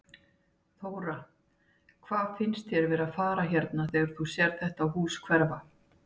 Þóra: Hvað finnst þér vera að fara hérna þegar þú sérð þetta hús hverfa?